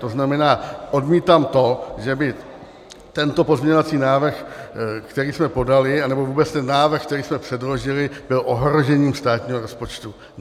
To znamená, odmítám to, že by tento pozměňovací návrh, který jsme podali, anebo vůbec ten návrh, který jsme předložili, byl ohrožením státního rozpočtu.